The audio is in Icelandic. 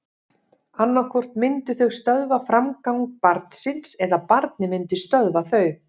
Annað hvort myndu þau stöðva framgang barnsins eða barnið myndi stöðva þau.